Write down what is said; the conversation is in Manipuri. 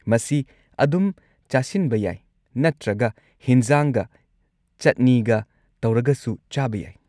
ꯃꯁꯤ ꯑꯗꯨꯝ ꯆꯥꯁꯤꯟꯕ ꯌꯥꯏ ꯅꯠꯇ꯭ꯔꯒ ꯍꯤꯟꯖꯥꯡꯒ ꯆꯠꯅꯤꯒ ꯇꯧꯔꯒꯁꯨ ꯆꯥꯕ ꯌꯥꯏ꯫